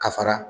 Ka fara